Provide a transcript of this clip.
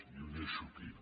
i ho deixo aquí